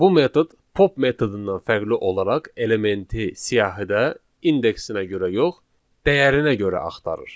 Bu metod pop metodundan fərqli olaraq elementi siyahıda indeksinə görə yox, dəyərinə görə axtarır.